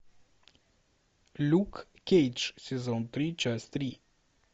люк кейдж сезон три часть три